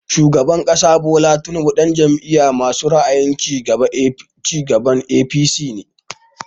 Shugaban ƙasa Bola Tinubu ɗan Jam'iyar masu ra'ayin cigaba (APC) ne